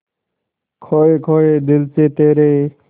खोए खोए दिल से तेरे